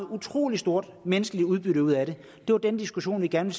utrolig stort menneskeligt udbytte ud af det det var den diskussion vi gerne